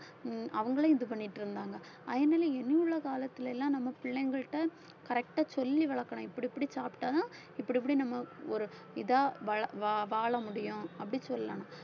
ஹம் அவங்களே இது பண்ணிட்டு இருந்தாங்க அதனால இனி உள்ள காலத்துல எல்லாம் நம்ம பிள்ளைங்கள்ட்ட correct ஆ சொல்லி வளர்க்கணும் இப்படி இப்படி சாப்பிட்டாதான் இப்படி இப்படி நம்ம ஒரு இதா வழ~ வ~ வாழ முடியும் அப்படி சொல்லலாம்